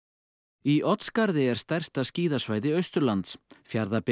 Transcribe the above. í Oddsskarði er stærsta skíðasvæði Austurlands Fjarðabyggð